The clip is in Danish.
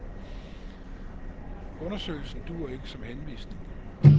Undersøgelsen duer ikke som henvisning.